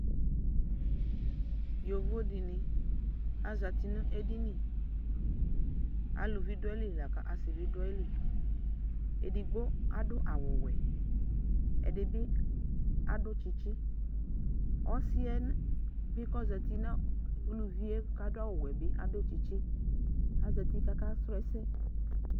yovo dini azati nu edini aluvi dua iɣili lã ku asi bi du aɣili edigbo adu awu ɔwɛ ɛdi bi adu tchitchi ɔluɛ bi kɔ za ti n'uluvie ku adu awu wɛ bi adu tchitchi azati k'aka srɔ ɛsɛ